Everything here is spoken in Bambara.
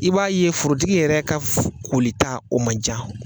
I b'a ye forotigi yɛrɛ ka f kolita o man can.